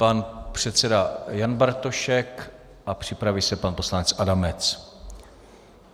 Pan předseda Jan Bartošek a připraví se pan poslanec Adamec.